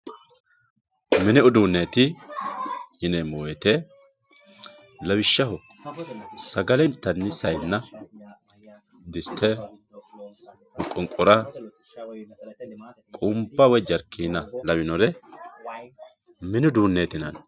mini uduunneeti yineemmo woyiite lawishshaho sagale intanni sayiinna diste moqonqora qunba woy jarkiina lawinore mini uduunneeti yinanni